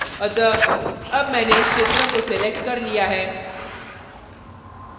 अतः अब मैंने इस क्षेत्र को selected कर लिया है